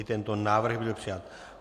I tento návrh byl přijat.